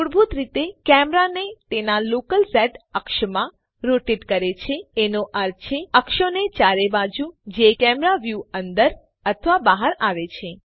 મૂળભૂત રીતે કેમેરાને તેના લોકલ Z અક્ષમાં રોટેટ કરે છે એનો અર્થ છે અક્ષોની ચારે બાજુ જે કેમેરા વ્યુની અંદર અથવા બહાર આવે છે